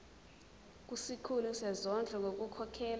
kusikhulu sezondlo ngokukhokhela